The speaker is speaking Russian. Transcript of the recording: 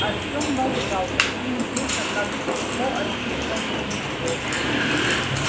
артём молчал почти не слыша как его отчитывал бурбон